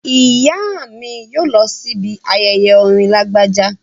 Ìyá mi yóò lọ sí ibi ayẹyẹ orin Lágbájá